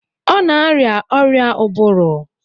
Ọ na-arịa ọrịa ụbụrụ